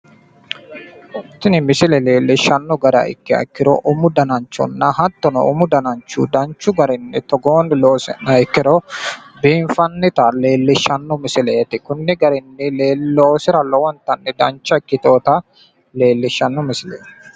Tini misile leellishshanno gara ikkiha ikkiro umu dananchonna umu danancho konni garinni loosi'niro biinfannita leellishshanno misileeti. Konni garinni loosira lowonta dancha ikkitinota leellishshanno misileeti.